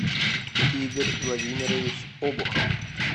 игорь владимирович обухов